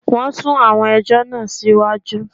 Wọn sún àwọn ẹjọ́ náà sí iwájú